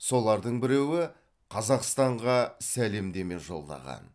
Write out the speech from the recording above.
солардың біреуі қазақстанға сәлемдеме жолдаған